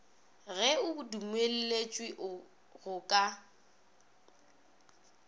ge o dumelletšwe go ka